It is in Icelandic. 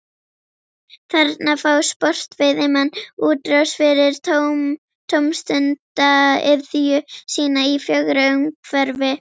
Þarna fá sportveiðimenn útrás fyrir tómstundaiðju sína í fögru umhverfi.